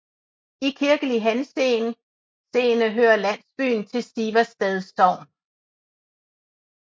I kirkelig henseende hører landsbyen til Siversted Sogn